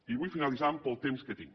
i vull finalitzar pel temps que tinc